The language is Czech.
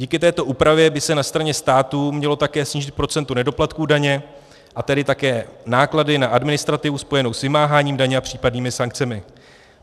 Díky této úpravě by se na straně státu mělo také snížit procento nedoplatků daně, a tedy také náklady na administrativu spojenou s vymáháním daně a případnými sankcemi.